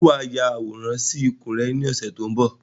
Ṣé wá ya àwòrán sì ikùn rẹ ni ọ̀sẹ̀ tó ń bọ̀?